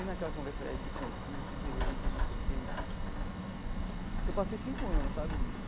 E naquela conversa é de concurso, de lei, de não sei o quê de... Eu passei cinco anos, sabe, nisso.